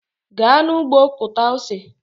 Gaa n'ụgbọ kụta ose!